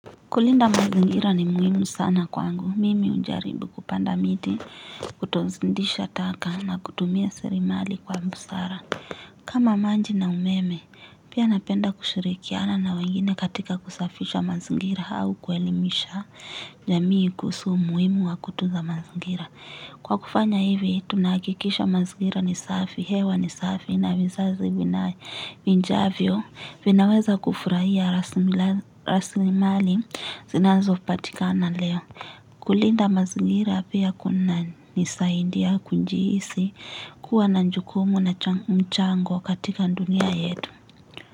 Kulinda mazingira ni muhimu sana kwangu. Mimi unjaribu kupanda miti, kutozindisha taka na kutumia serimali kwa mbusara. Kama maji na umeme, pia napenda kushirikiana na wengine katika kusafisha mazingira au kuelimisha jamii kuhusu umuhimu wa kutunza mazingira. Kwa kufanya hivi tunakikisha mazingira nisafi, hewa nisafi na vizazi minjavyo vinaweza kufurahia rasimali zinanzo patikana leo. Kulinda mazingira pia kuna nisaindia kunjiisi kuwa na njukumu na mchango katika ndunia yetu.